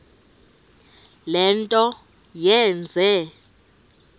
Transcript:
le nto yenze